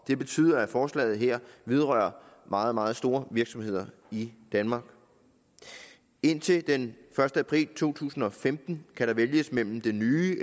det betyder at forslaget her vedrører meget meget store virksomheder i danmark indtil den første april to tusind og femten kan der vælges mellem det nye